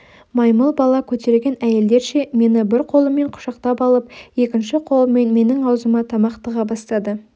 маймыл бала көтерген әйелдерше мені бір қолымен құшақтап алып екінші қолымен менің аузыма тамақ тыға бастады